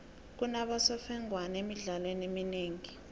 kunabosemfengwana emidlalweni eminengi